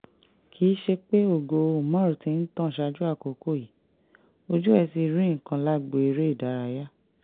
kì í ṣe pé ògo umar ti ń tàn ṣáájú àkókò yìí ojú ẹ̀ rí nǹkan lágbo eré ìdárayá